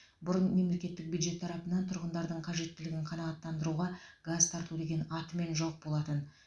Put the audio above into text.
бұрын мемлекеттік бюджет тарапынан тұрғындардың қажеттілігін қанағаттандыруға газ тарту деген атымен жоқ болатын